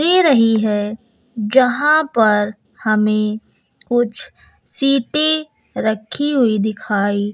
दे रही हैं यहां पर हमें कुछ सीटें रखी हुई दिखाई--